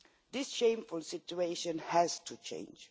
This shameful situation has to change.